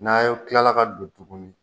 N'a y' o tilala ka don tuguni